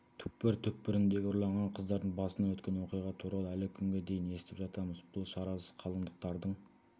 түкпір-түкпіріндегі ұрланған қыздардың басынан өткен оқиға туралы әлі күнге дейін естіп жатамыз бұл шарасыз қалыңдықтардың